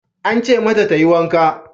Aka ce mata ta yi wanka.